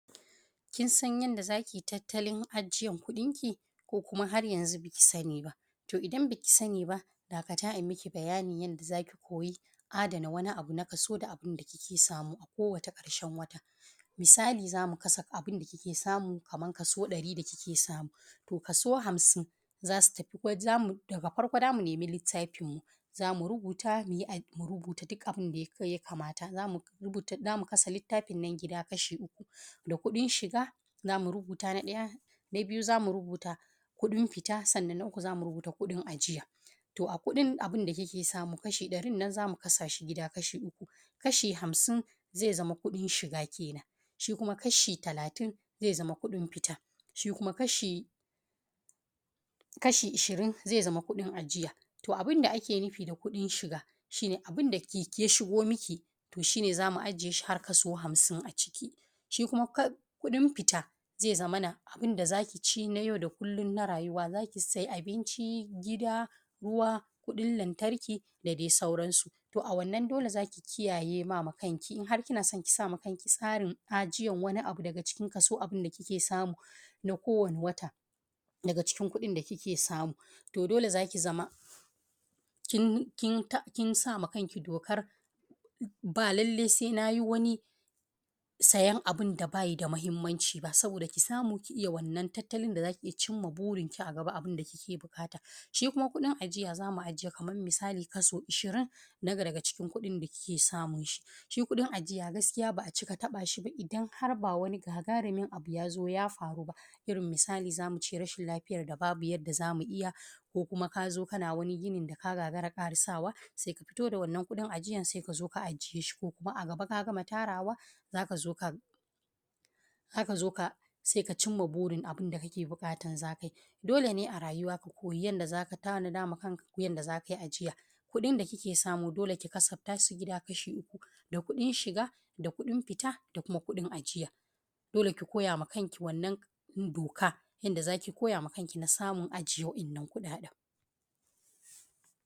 Kin san yadda za ki yi tattalin ajiyan kuɗin ki, ko kuma har yanzu baki sani ba. To idan baki sani ba dakata a yi maki bayanin yadda za ki koyi adana wani abu na kaso da abun da kike samu a kowace ƙarshen wata. Misali za mu kasa abun da kike samu kamar kaso ɗari da kike samu, to kaso hamsin, daga farko za mu nemi littafin mu, za murubuta duk abun da ya kamata Zama kasa littafin nan gida kasha uku, da kuɗin shiga za mu rubuta na ɗaya, na biyu za mu rubuta kuɗin fita, sannan na uku za mu rubuta kuɗin ajiya. To a kuɗin abun da kike samu kashi ɗarin nan za mu kasa shi gida kashi uku. Kasha amsin zai zama kuɗin shiga kenan, shi kuma kashi talatin zai zama kuɗin fita kenan, shi kuma kasha ashirin zai zama kuɗin ajiya. To abun da ake nufi da kuɗin shiga, shi ne abun da ya shigo maki to shi ne za mu aje shi har kaso hamsin a ciki. Shi kuma kuɗin fita ya zaman abun da za ki ci na yau da kullum na rayuwa za ki sayi abinci, gida, ruwa, kuɗin lantarki da dai sauransu. To a wannan dole za ki kiyaye ma kanki in har kina so ki sa ma kanki tsarin ajiyan wani abu daga cikin Kason abun da kike samu na kowane wata, daga cikin kuɗin da kike samu, to dole za ki zama kin sa ma kanki dokar ba lallai sai na yi wani sayan abun da baya da muhimmanci ba, soboda ki samu ki iya wannan tattalin da za ki iya cimma burinki a gaba abun da kike buƙata. Shi kuma kuɗin ajiya za mu aje kamar misali kaso ishirin na daga cikin kuɗin da kike samu. Shi kuɗin ajiya gaskiya ba a cika taɓa shi ba idan har ba wani gagarumin abu ya zo ya faru ba, irin misali za mu ce rashin lafiyar da ba bu yadda za mu iya, ko kuma ka zo kana wani ginin da ka gagara ƙarisa wa sai ka fito da wannan kuɗin ajiyan sai ka zo ka ajiye shi, ko kuma a ga ba ka gama tarawa, za ka zo sai ka cimma burin abun da kake buƙatar za ka yi. Dole ne a rayuwa ka koyi yadda z aka tanada ma kanka yadda za ka yi ajiya. kuɗin da kike samu dole ki kasafta shi gida kasha uku da kuɗin shiga da kuɗn fita, da kuma kuɗin ajiya. Dole ki koya ma kanki wannan doka yadda za ki koya ma kanki na samun ajiye wa’inan kuɗaɗen.